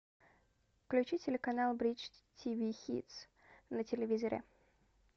включи телеканал бридж тв хитс на телевизоре